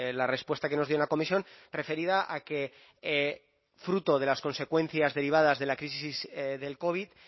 la respuesta que nos dio en la comisión referida a que fruto de las consecuencias derivadas de la crisis del covid